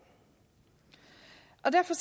og derfor